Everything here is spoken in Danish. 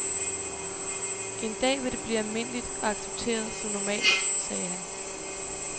En dag vil det blive almindeligt og accepteret som normalt, sagde han.